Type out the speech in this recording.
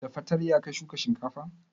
Da fartanya ka shuka shinkafan?